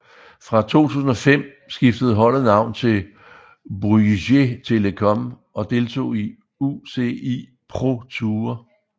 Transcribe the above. Fra 2005 skiftede holdet navn til Bouygues Télécom og deltog i UCI ProTour